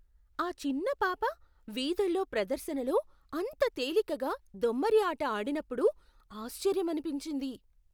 ఆ చిన్న పాప వీధుల్లో ప్రదర్శనలో అంత తేలికగా దొమ్మరి ఆట ఆడినప్పుడు ఆశ్చర్యమనిపించింది.